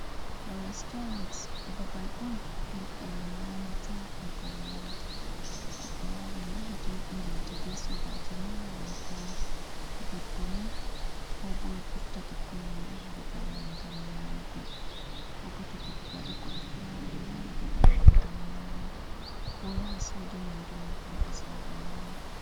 Restaurants babal on ɗum ɓe nyamata bo ɓe yara. Goɗɗo wawan yaha to yidi ngewta be sobajo mum, ko bo debbo mum, ko bo o bofta bikkoi mum O yaha babal mai gam nyamugo, ko bo to goɗɗo waɗi koɗo fu wawan yara mo babal mai gam nyama. Ko yaha soda nyamdu mai hota sare nyama.